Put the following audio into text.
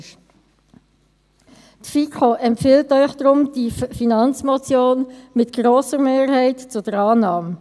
Die FiKo empfiehlt Ihnen daher diese Finanzmotion mit grosser Mehrheit zur Annahme.